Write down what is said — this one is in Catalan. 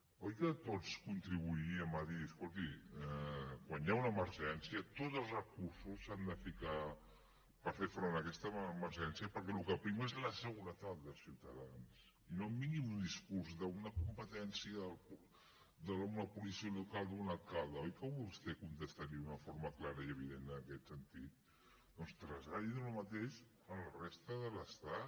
oi que tots contribuiríem a dir escolti quan hi ha una emergència tots els recursos s’han de ficar per fer front a aquesta emergència perquè el que prima és la seguretat dels ciutadans i no em vingui amb un discurs d’una competència d’una policia local o d’un alcalde oi que vostè contestaria d’una forma clara i evident en aquest sentit doncs traslladi el mateix a la resta de l’estat